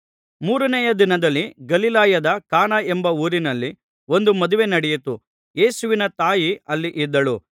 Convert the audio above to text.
ಮೂರನೆಯ ದಿನದಲ್ಲಿ ಗಲಿಲಾಯದ ಕಾನಾ ಎಂಬ ಊರಿನಲ್ಲಿ ಒಂದು ಮದುವೆ ನಡೆಯಿತು ಯೇಸುವಿನ ತಾಯಿ ಅಲ್ಲಿ ಇದ್ದಳು